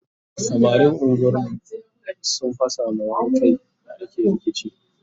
samarin unguwar mu sun fasa ma wani Kai da ake rikici